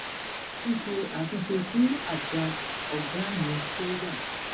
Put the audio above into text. ṣíṣe àtúnṣe sí àṣà ọgá mi tó wà